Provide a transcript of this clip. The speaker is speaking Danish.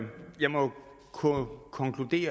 på